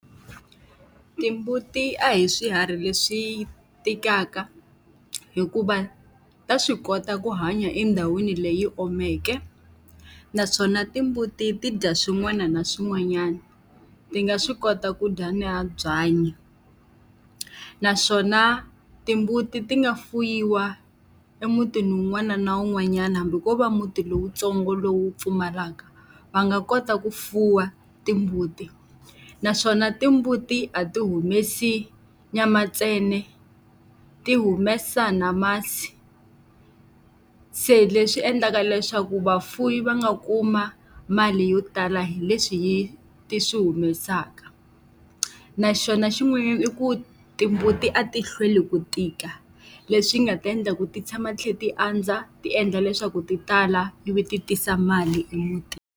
Timbuti a hi swiharhi leswi tikaka hikuva ta swi kota ku hanya endhawini leyi omeke, naswona timbuti ti dya swin'wana na swin'wanyana, ti nga swi kota ku dya na byanyi. Naswona timbuti ti nga fuwiwa emutini wun'wana na wun'wanyana hambi ko va muti lowuntsongo lowu pfumalaka, va nga kota ku fuwa timbuti. Naswona timbuti a ti humesi nyama ntsena, ti humesa na masi. Se leswi endlaka leswaku vafuwi va nga kuma mali yo tala hi leswi ti swi humesaka. Na xona xin'wanyana i ku timbuti a ti hlweli ku tika, leswi nga ta endla ku ti tshama ti tlhela ti andza ti endla leswaku ti tala ivi ti tisa mali emutini.